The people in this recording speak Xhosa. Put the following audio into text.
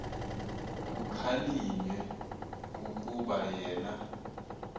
kukhalinywe kukuba yena